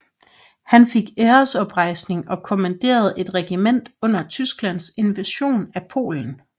Han fik æresoprejsning og kommanderede et regiment under Tysklands invasion af Polen